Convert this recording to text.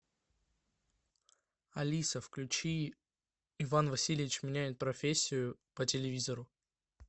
алиса включи иван васильевич меняет профессию по телевизору